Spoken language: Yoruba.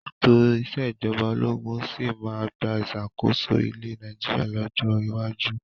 Ètò ìsèjọba ológun sì máa gba ìṣàkóso ilẹ̀ Nàìjíríà lọ́jọ́ iwájú.